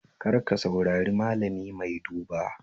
Kar ka saurari malami mai duba